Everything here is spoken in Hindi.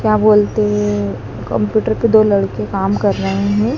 क्या बोलते हैं कंप्यूटर पे दो लड़के काम कर रहे हैं।